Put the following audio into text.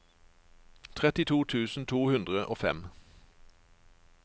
trettito tusen to hundre og fem